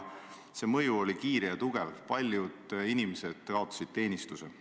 Selle mõju oli kiire ja tugev, paljud inimesed kaotasid teenistuse.